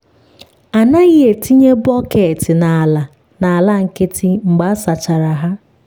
a naghị etinye bọket n’ala n’ala nkịtị mgbe a sachara ha.